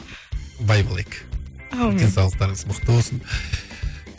бай болайық аумин денсаулықтарыңыз мықты болсын